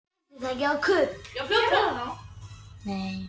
Eða þjófarnir, hvað varð um þá, gleypti jörðin þá bara?